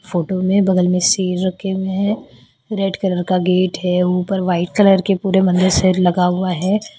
Photo में बगल में सिर रखे हुए हैं रेड कलर का गेट है ऊपर व्हाइट कलर के पूरे मंदिर से लगा हुआ है।